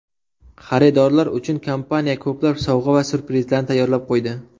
Xaridorlar uchun kompaniya ko‘plab sovg‘a va syurprizlarni tayyorlab qo‘ydi.